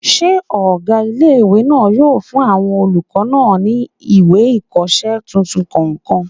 Ṣé ọgá ilé-ìwé náà yóò fún àwọn olùkọ́ náà ní ìwé ìkọsẹ́ tuntun kọ̀ọ̀kan?